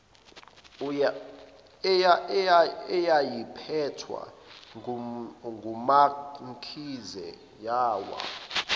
eyayiphethwe ngumamkhize yawa